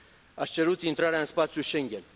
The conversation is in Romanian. Ați cerut intrarea în spațiul Schengen.